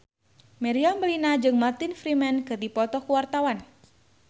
Meriam Bellina jeung Martin Freeman keur dipoto ku wartawan